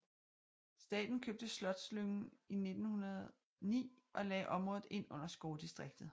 Staten købte Slotslyngen i 1909 og lagde området ind under skovdistriktet